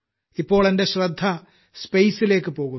ഇപ്പോൾ എന്റെ ശ്രദ്ധ ടുമരലലേക്ക് പോകുന്നു